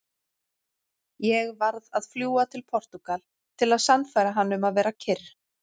Ég varð að fljúga til Portúgal til að sannfæra hann um að vera kyrr.